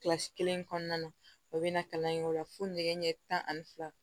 Kilasi kelen kɔnɔna na o bɛna kalan in k'o la fo nɛgɛ ɲɛ tan ani fila